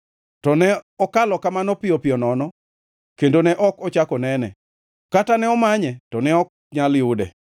To ne okalo kamano piyo piyo nono kendo ne ok ochak onene, kata ne omanye to ne ok nyal yude.